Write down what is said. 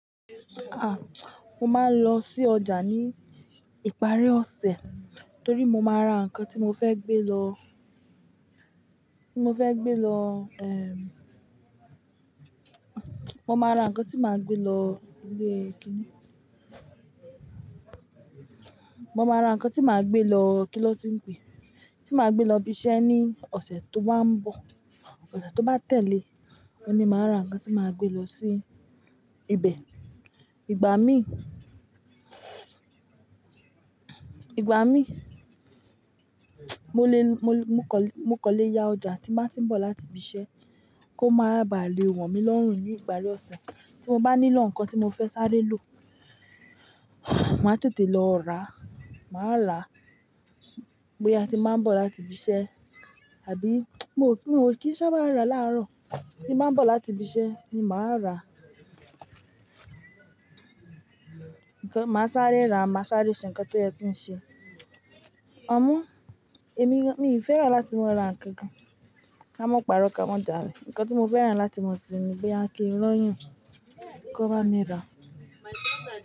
Ah! Mo máa ń lọ sí ọjà ní ìparí ọ̀sẹ̀ torí mo máa ra nǹkan tí mo fẹ́ gbé lọ, tí mo fẹ́ gbé lọ, eh mo máa ra nǹkan tí màá gbé lọ ilé kíní. Mo máa ra nǹkan tí màá gbé lọ, kí ló ti ń pé? Tí màá gbé lọ ibi iṣẹ́ ní ọ̀sẹ̀ tó bá ń bọ̀. Ọ̀sẹ̀ tó bá tẹ̀lé, ohun ní màá ra nǹkan tí màá gbé lọ sí ibẹ̀. Ìgbà mí, ìgbà mí, mo lè, mo kọ̀, mo kọ̀ lé yá ọjà tí màá tí ń bọ̀ láti ibi iṣẹ́ kó máa bà lé wọ̀n mí lọ́rùn ní ìparí ọ̀sẹ̀. Tí mo bá nílò nǹkan tí mo fẹ́ sáré lò, màá tètè lọ rà á, màá rà á. Gboya tí màá ń bọ̀ láti ibi iṣẹ́ àbí, mi o kí n o, kí i sabá rà láàárọ̀. Tí màá ń bọ̀ láti ibi iṣẹ́ ni màá rà á. Nǹkan, màá sáré rà á, màá sáré ṣe nǹkan tó yẹ kí n ṣe. Amo, èmi, mi ò fẹ́ràn láti ma ra ǹkan gan. Ká mọ́ pàrọ̀ ká mọ̀ jàle. Ǹkan tí mo fẹ́ràn láti maa ṣe ni boya kì í ranyan kó bá mi rà á.